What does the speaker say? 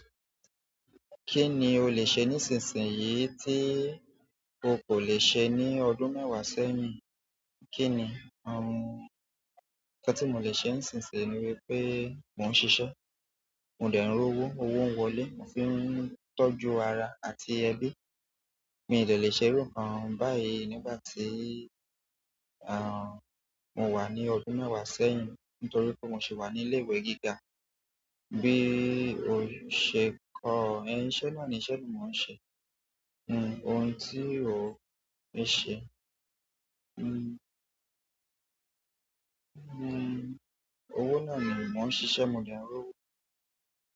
Kí ni o lè ṣe nísinsìnyí tí o kò lè ṣe ní ọdún mẹ́wàá sẹ́yìn? Kí ni, à, nǹkan tí mo lè ṣe nísinsìnyí ni wípé mò ń ṣiṣẹ́, mò ń dẹ n ri owó, owó ń wọlé, mò fi ń tọ́jú ara àti ẹbí. Mi ìdẹ lè ṣe irú nkán báyìí nígbà tí, à, mò wà ní ọdún mẹ́wàá sẹ́yìn nítorí pé mò ṣe wà ní ilé ìwé gíga. Bí o ṣe kọ ẹni, iṣẹ́ náà ni iṣẹ́ ni mò ń ṣe. Nn, ohun tí o lè ṣe, nn, nn, owó náà ni mò ń ṣiṣẹ́, mò de n r owó.